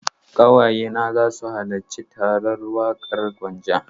Ƙawaye na za su halarci taron Waƙar Gwanja.